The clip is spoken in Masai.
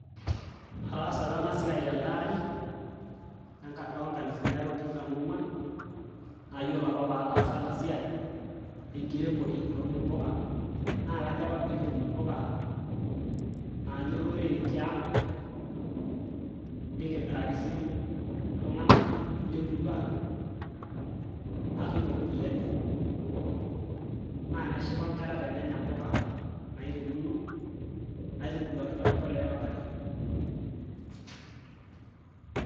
Ataasa apa ena siaai telde aari loonkalifuni are otikitam oong'uan naayiolo apa paataasa ena siai enkiremore aun impuka naa kajo apa peekitum impuka naanya olorere tiang nikimiraki sii iltung'anak lemurua natum iropiyiani naa neshipa inkera tenenya impuka nairemuno naitubuluaki tembolea oontare.